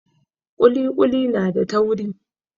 Ƙuli ƙuli na da tauri.